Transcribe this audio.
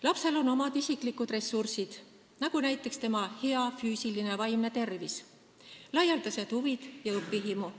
Lapsel on omad isiklikud ressursid, näiteks tema hea füüsiline ja vaimne tervis, laialdased huvid ja õpihimu.